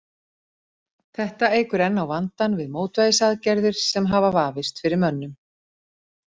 Þetta eykur enn á vandann við mótvægisaðgerðir sem hafa vafist fyrir mönnum.